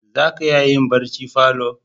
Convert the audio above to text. Za ka iya yin barci falo